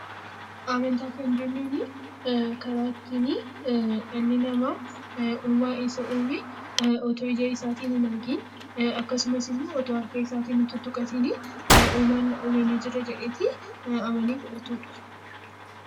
Amantaa Kan jennuuni karaa ittiin dhalli namaa uumaa isa uume otoo ija isaatiin hin argin akkasumas immoo otoo harka isaatiin hin tuttuqatin uumaan na uume ni jira jedhee amanee fudhatudha.